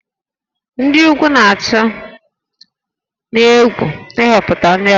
Ndị ugwu na-atụ egwu ịhọpụta ndị ọzọ